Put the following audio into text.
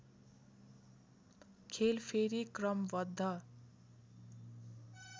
खेल फेरि क्रमबद्ध